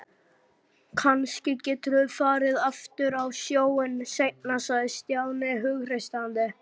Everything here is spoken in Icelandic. Kannski geturðu farið aftur á sjóinn seinna sagði Stjáni hughreystandi.